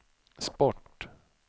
sport